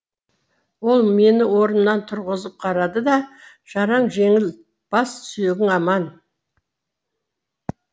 ол мені орнымнан тұрғызып қарады да жараң жеңіл бас сүйегің аман